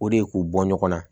O de ye k'u bɔ ɲɔgɔn na